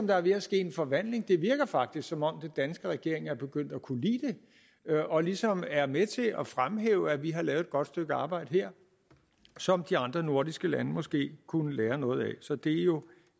der er ved at ske en forvandling det virker faktisk som om den danske regering er begyndt at kunne lide det og ligesom er med til at fremhæve at vi har lavet et godt stykke arbejde her som de andre nordiske lande måske kunne lære noget af så det er jo